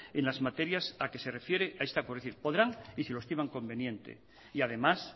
en las materias a que se refieren a esta podrán y si lo estiman conveniente y además